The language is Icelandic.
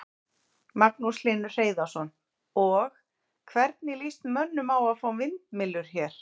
Magnús Hlynur Hreiðarsson: Og, hvernig lýst mönnum á að fá vindmyllur hér?